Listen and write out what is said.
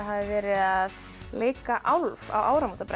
að leika á áramótabrennu